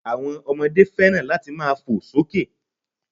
Àwon ọmọdé fẹ́ràn láti máa to sókè